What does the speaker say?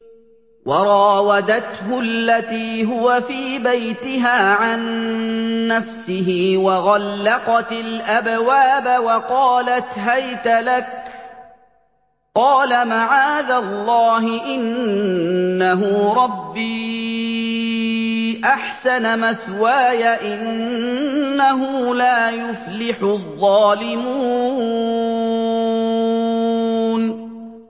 وَرَاوَدَتْهُ الَّتِي هُوَ فِي بَيْتِهَا عَن نَّفْسِهِ وَغَلَّقَتِ الْأَبْوَابَ وَقَالَتْ هَيْتَ لَكَ ۚ قَالَ مَعَاذَ اللَّهِ ۖ إِنَّهُ رَبِّي أَحْسَنَ مَثْوَايَ ۖ إِنَّهُ لَا يُفْلِحُ الظَّالِمُونَ